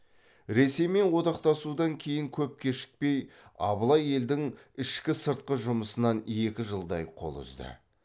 ресеймен одақтасудан кейін көп кешікпей абылай елдің ішкі сыртқы жұмысынан екі жылдай қол үзді